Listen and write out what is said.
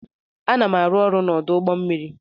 Ana m arụ ọrụ n'ọdụ ụgbọ mmiri.